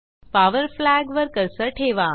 power flag वर cursor ठेवा